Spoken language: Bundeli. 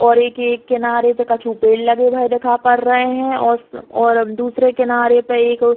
और एक ये एक किनारे पे कछु पेड़ लगे हुए देखा पड़ रहे हैं और और दूसरे किनारे पे एक --